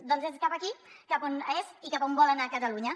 doncs és cap aquí cap on és i cap on vol anar catalunya